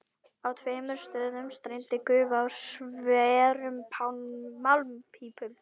Á tveimur stöðum streymdi gufa úr sverum málmpípum.